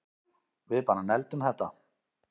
Við bara negldum þetta